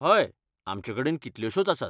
हय, आमचेकडेन कितल्योशोच आसात.